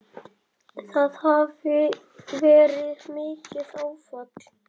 Það hafi verið mikið áfall.